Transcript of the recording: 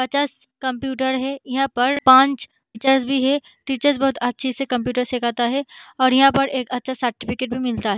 पचास कम्प्युटर है यहां पर पाँच टीचर्स भी है टीचर्स बहुत अच्छे से कम्प्युटर सिखाता है और यहां पर एक अच्छा सर्टिफिकेट भी मिलता है।